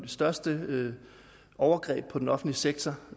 største overgreb på den offentlige sektor